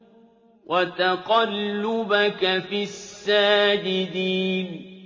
وَتَقَلُّبَكَ فِي السَّاجِدِينَ